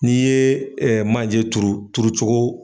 N'i yee manje turu turucogo